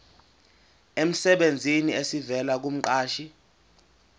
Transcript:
emsebenzini esivela kumqashi